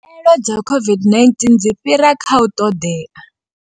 Khaelo dza COVID-19 dzi fhira kha u ṱoḓea.